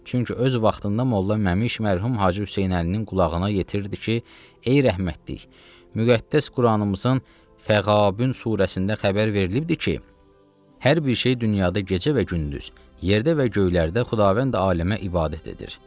Çünki öz vaxtında Molla Məmş mərhum Hacı Hüseynəlinin qulağına yetirdi ki, ey rəhmətlik, müqəddəs Quranımızın Fəqabun surəsində xəbər verilibdir ki, hər bir şey dünyada gecə və gündüz, yerdə və göylərdə Xudavənd aləmə ibadət edir.